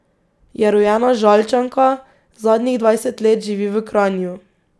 Je rojena Žalčanka, zadnjih dvajset let živi v Kranju.